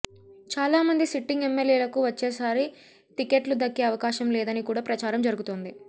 చాలామంది సిట్టింగ్ ఎమ్మెల్యేలకు వచ్చేసారి టికెట్లు దక్కే అవకాశం లేదని కూడా ప్రచారం జరుగుతోంది